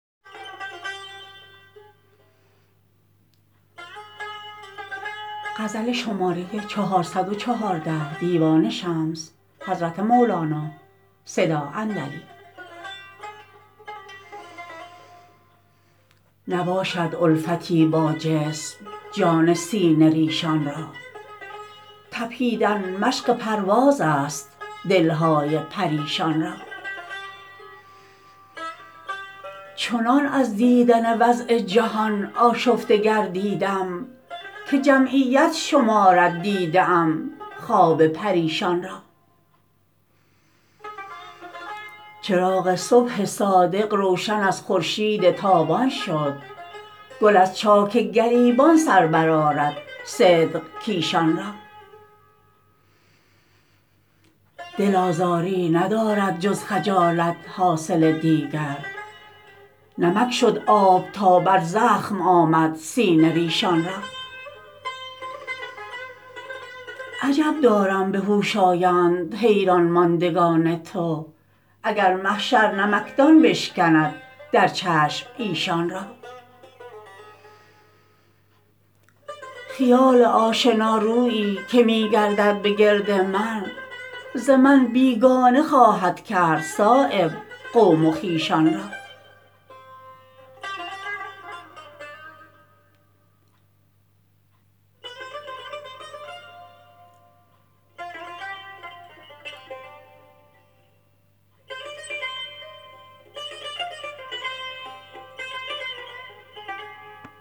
نباشد الفتی با جسم جان سینه ریشان را تپیدن مشق پروازست دلهای پریشان را چنان از دیدن وضع جهان آشفته گردیدم که جمعیت شمارد دیده ام خواب پریشان را چراغ صبح صادق روشن از خورشید تابان شد گل از چاک گریبان سر برآرد صدق کیشان را دل آزاری ندارد جز خجالت حاصل دیگر نمک شد آب تا بر زخم آمد سینه ریشان را عجب دارم به هوش آیند حیران ماندگان تو اگر محشر نمکدان بشکند در چشم ایشان را خیال آشنا رویی که می گردد به گرد من ز من بیگانه خواهد کرد صایب قوم و خویشان را